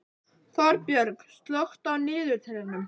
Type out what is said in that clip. Þorbjörg, slökktu á niðurteljaranum.